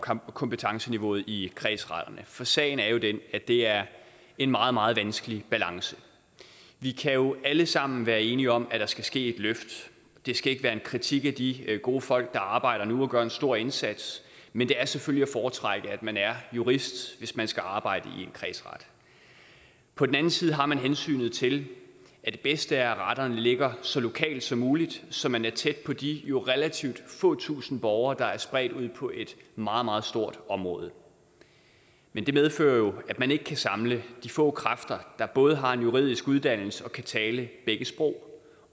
om kompetenceniveauet i kredsretterne for sagen er jo den at det er en meget meget vanskelig balance vi kan jo alle sammen være enige om at der skal ske et løft det skal ikke være en kritik af de gode folk der arbejder der nu og gør en stor indsats men det er selvfølgelig at foretrække at man er jurist hvis man skal arbejde i en kredsret på den anden side har man hensynet til at det bedste er at retterne ligger så lokalt som muligt så man er tæt på de relativt få tusinde borgere der er spredt ud på et meget meget stort område men det medfører jo at man ikke kan samle de få kræfter der både har en juridisk uddannelse og kan tale begge sprog